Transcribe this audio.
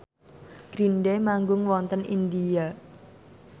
Green Day manggung wonten India